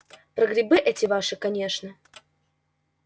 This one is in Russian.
про грибы эти ваши конечно